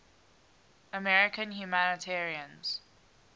american humanitarians